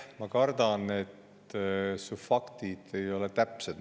Ma kardan, et su faktid ei ole täpsed.